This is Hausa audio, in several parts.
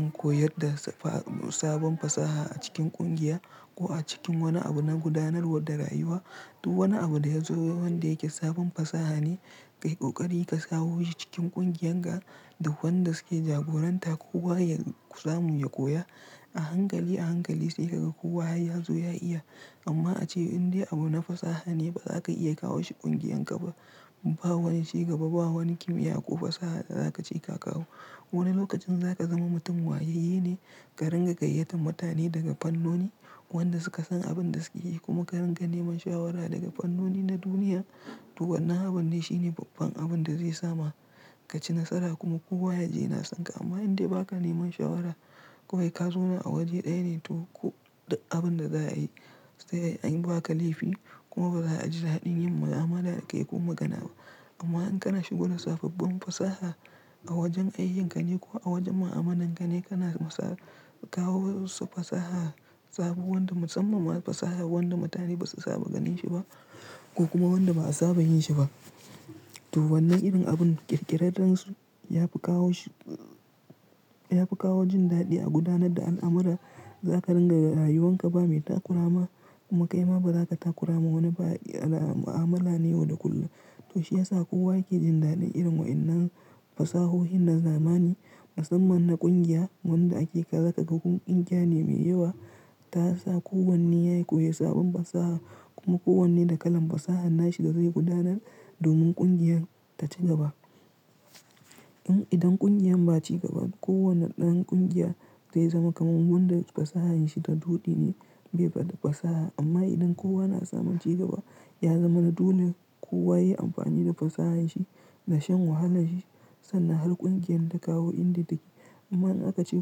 In koyar da sabon fasaha a cikin ƙungiya ko a cikin wani abu na gudanarwa da rayuwa, duk wani abu da ya zo wanda yake sabon fasaha ne, ƙai ƙoƙari ka sawo shi cikin ƙungiyanka da wanda suke jagoranta ko kowa ya samu ya koya a hankali a hankali sai ka ga kowa har ya zo ya iya. Amma ace indai abu na fasaha ne ba za ka iya kawo shi ƙungiyanka ba. Ba wani cigaba, ba wani kimiyya ko fasaha da za ka ce ka kawo. Wani lokacin za ka zama mutum wayayye ne ka rinƙa gayyatar mutane daga fannoni wanda suka san abin da suke yi kuma ka rinƙa neman shawara daga fannoni na duniya. To wannan aban ne shine babban abin da zai sa ma ka ci nasara kuma kowa ya ji yana son ka. Amma indai ba ka neman shawara ko kawai ka zo na a waje ɗaya ne toh ko da abin da za a yi sai an yi ba ka laifi kuma ba za a ji daɗin yin mu'amala da kai ko magana ba. Amma in kana shigo da sababbin fasaha a wajen ayyukane ko a wajen mu'amalan ka ne, kana masa kawo wasu fasaha sabo wanda musamman fasaha wanda mutane basu saba ganin shi ba ko kuma wanda ba a saba yin shi ba. To wannan irin abun ƙirƙirarrensu ya fi kawo shi, ya fi kawo jin daɗi a gudanar da al'amura. Za ka ringa rayuwan ka ba mai takurama kuma kaima ba za ka takurama wani ba a mu'amala ne yau da kullum. To shi ya sa kowa yake jin daɗin irin wa'inan fasahohin na zamani. Musamman na ƙungiya wanda ake kazaka ga ƙungiya ne mai yawa ta sa kowanne yayi koyi sabon fasaha kuma kowanne da kalan fasaha nashi da zai gudanar domin ƙungiyar ta ci gaba. In idan ƙungiyar ba ci gaba kowane ɗan ƙungiya zai zama kamar wanda fasahanshi ta dodi ne bai bada fasaha. Amma idan kowa na samun cigaba ya zama na dole kowa yayi amfani da fasahanshi da shan wahalanshi sanna har ƙungiyar ta kawo indai take. Amma in aka ce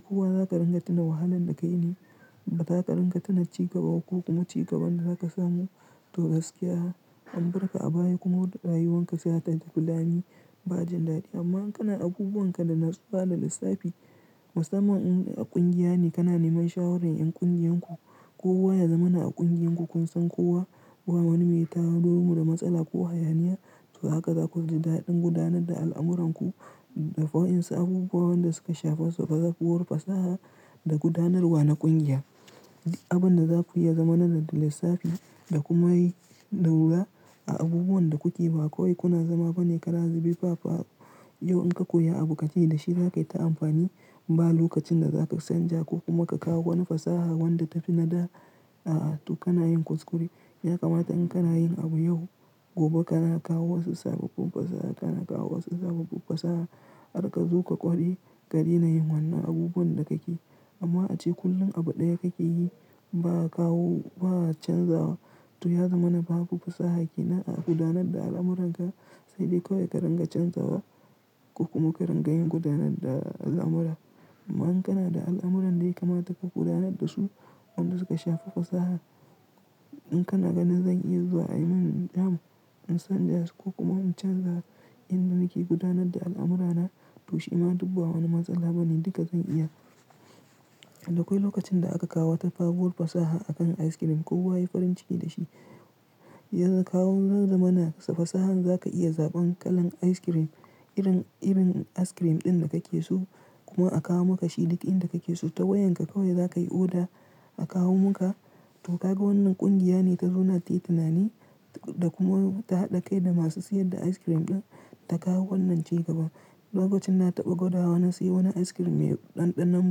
kowa za ka rinƙa tuna wahalan da ka yi ne, ba za ka rinƙa tuna cigaba ko kuma cigaban da zaka samu. To gaskiya, ambarka a baya kuma rayuwan ka ya ta filani ba jin daɗi. Amma in kana abubuwan ka da na tsufa da lissafi musamman in a ƙungiya ne kana neman shawaran 'yan ƙungiyarku ko kowa ya zama na a ƙungiyarku kun san kowa ko wani me tawo domin da matsala ko hayaniya. To haka za ku ji daɗin gudanar da al'amuranku. Da fa'in sai abubuwan da suka shafa su fa za su fi wul fasaha da gudanarwa na ƙungiya. Duk abin da za ku iya zama nan da lissafi da kuma yi laula a abubuwan da kuke ba. Kawai kuna zama bana kara zube faffaru. Yo in ka koya abu ka ci da shi, za ka yi ta amfani. Ba lokacin da za ka canja ko kuma ka kawo wani fasaha wanda tafi nadara a'a. To kana yin kuskure. Ya kamata in kana yin abu yau, gobe kana kawo wasu sababbin fasaha, kana kawo wasu sababbin fasaha har ka zo ka ƙware ka daina yin wannan abubuwan da kake yi. Amma ace kullum abu ɗaya ka ke yi ba kawo ba a canzawa. To ya zama na baku fasaha ki na a gudanar da al'amuranka sai dai kawai ka rinƙa canzawa ko kuma ka rinƙa yin gudanar da al'amura. Amma in kana da al'amuran da ya kamata ka gudanar da su, wanda suka shafa fasaha in kana ganin zan iya zuwa a yi mun jam'i in san da su ko kuma in canza inda muke gudanar da al'amurana to shi ma duk ba wani matsala bane, duka zan iya. Da akwai lokacin da aka kawo tafagol fasaha a kan ice cream, kowa ya yi farin ciki da shi. Yanzu kawun zai zama na fasaha za ka iya zaɓan kalan ice cream irin irin ice cream ɗin da kake so kuma a kawo maka shi duk inda kake so ta wayan ka kawai za ka yi oda a kawo maka. To ka ga wannan ƙungiya ne ta zo na yi tunani da kuma ta haɗa kai da masu siyar da ice cream ɗin ta kawo wannan cigaba. Lokacin na taɓa gwada wa na sayi wani ice cream mai ɗanɗanon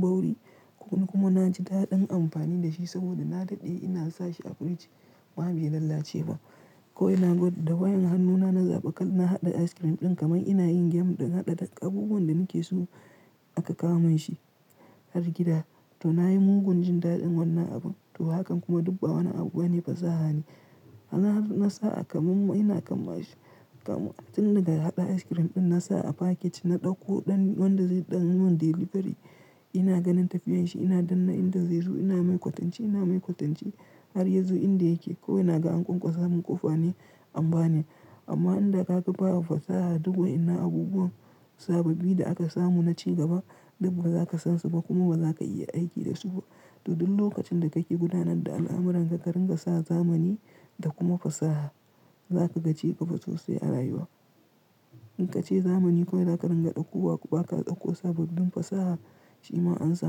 bawri kuma na ji da ɗin amfani da shi saboda na daɗe ina sa shi a firij kuma bai lalace ba. Ko ina gwadda wayan hannuna na zaɓi kal na haɗa ice cream ɗin kamar ina yin game ɗin haɗa tak abubuwan da nake so aka kawo min shi har gida. To na yi mugun jin daɗin wannan abun. To hakan kuma duk ba wani abu bane fasaha ne. Na sa a kamammu ina kamma shi kamun ɗin daga haɗa ice cream ɗin na sa a paket na ɗauko ɗan wanda zai ɗan min delivery. Ina ganin tafiyan shi ina danna inda zai zo ina mai kwatanci ina mai kwatanci har ya zo inda yake. Ko ina ga an kwaso min ƙofa ne amba ne. Amma inda ka ga baya fasaha duka ina abubuwan sababbi da aka samu na cigaba duk ba za ka san su ba kuma ba za ka iya aiki da su ba. To duk lokacin da kake gudanar da al'amuranka ka rinƙa sa zamani da kuma fasaha za ka ga cigaba sosai a rayuwa. In ka ce zamani kawai za ka rinƙa ɗauka ko ba ka ɗakko sababbin fasaha shi ma an samu.